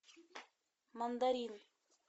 мандарины